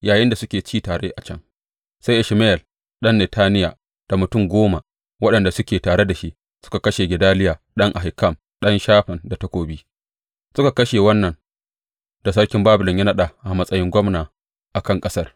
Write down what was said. Yayinda suke ci tare a can, sai Ishmayel ɗan Netaniya da mutum goma waɗanda suke tare da shi suka kashe Gedaliya ɗan Ahikam, ɗan Shafan, da takobi, suka kashe wannan da sarkin Babilon ya naɗa a matsayin gwamna a kan ƙasar.